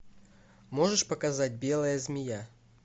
можешь показать белая змея